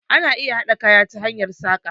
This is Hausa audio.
Ana iya haɗa kaya ta hanyar saƙa